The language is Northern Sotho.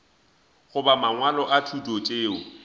goba mangwalo a thuto tšeo